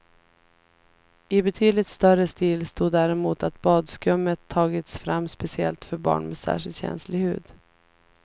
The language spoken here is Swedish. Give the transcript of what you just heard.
I betydligt större stil stod däremot att badskummet tagits fram speciellt för barn med särskilt känslig hud.